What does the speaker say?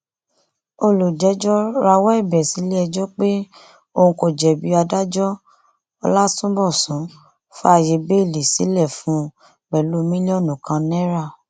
olùjẹjọ rawọ ẹbẹ sílẹẹjọ pé òun kò jẹbi adájọ ọlátúnbọsùn fààyè bẹẹlí sílẹ fún un pẹlú mílíọnù kan náírà